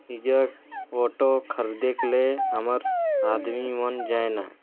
pizza photo खरेदे के लिए हमर आदमी मन जाए ला--